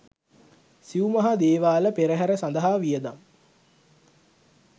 සිව් මහා දේවාල පෙරහර සඳහා වියදම්